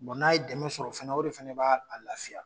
n'a ye dɛmɛ sɔrɔ fɛnɛ o de fɛnɛ ba a lafiya.